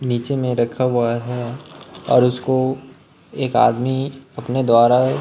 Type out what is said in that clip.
नीचे मे रखा हुआ है और उसको एक आदमी अपने द्वारा--